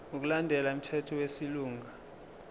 ngokulandela umthetho wesilungu